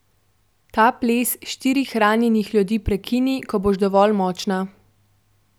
Ta ples štirih ranjenih ljudi prekini, ko boš dovolj močna.